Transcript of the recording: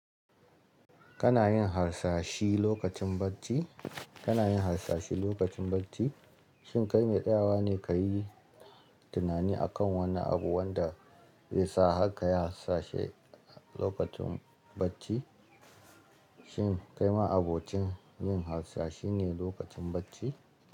Kana yin harsashi lokacin bacci? Kana yin harsashi lokacin bacci? Shin kai mai tsayawa ne ka yi tunani akan wannan abu, wanda zai sa har ka yi harsashi lokacin bacci? Shin kai ma abocin yin harsashi ne lokacin bacci?